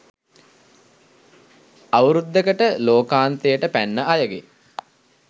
අවුරුද්දකට ලෝකාන්තයට පැන්න අයගේ